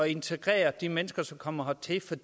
integrere de mennesker som kommer hertil for